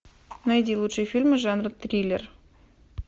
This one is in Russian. найди лучшие фильмы жанра триллер